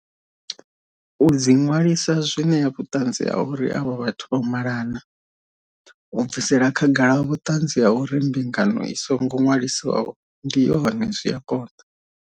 U dzi ṅwalisa zwi ṋea vhuṱanzi ha uri avho vhathu vho malana. U bvisela khagala vhuṱanzi ha uri mbingano i songo ṅwaliswaho ndi yone zwi a konḓa.